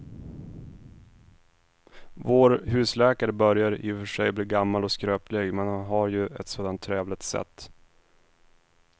Vår husläkare börjar i och för sig bli gammal och skröplig, men han har ju ett sådant trevligt sätt!